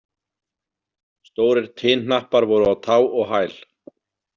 Stórir tinhnappar voru á tá og hæl.